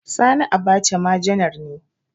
Sani Abacha ma janar ne